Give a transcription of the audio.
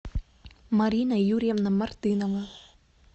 марина юрьевна мартынова